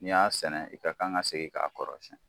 N'i y'a sɛnɛ i ka kan ka segin k'a kɔrɔsiyɛn.